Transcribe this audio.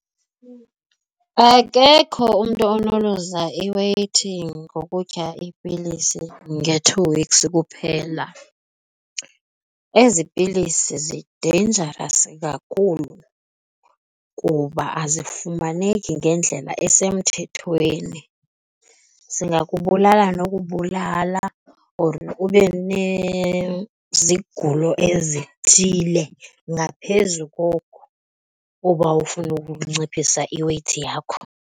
Akekho umntu onoluza iweyithi ngokutya iipilisi nge-two weeks kuphela. Ezi pilisi zi-dangerous kakhulu kuba azifumaneki ngendlela esemthethweni. Zingakubulalela nokubulala or ube nezigulo ezithile ngaphezu kokuba ufuna ukunciphisa i-weight yakho.